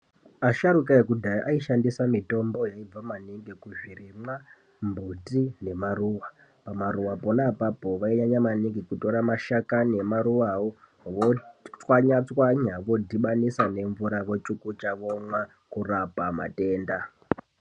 Asharuka eku dhaya aishandisa mitombo yaibva ku zvirimwa mbuti ne maruva pama ruva pona apapo vainyanya maningi kutora mashakani ema ruva wo votswanya tswanya vo dhibanisa nemvura vo chukucha vomwa kurapa matenda.